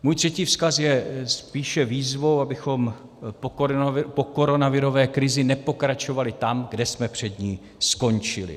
Můj třetí vzkaz je spíše výzvou, abychom po koronavirové krizi nepokračovali tam, kde jsme před ní skončili.